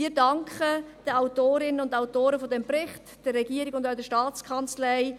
Wir danken den Autorinnen und Autoren dieses Berichts, der Regierung und auch der Staatskanzlei.